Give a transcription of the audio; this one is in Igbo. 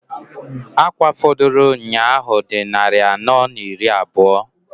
Akwa fọdụlụ nnyaa ahụ dị nnarị anọọ n'iri n'abụọ.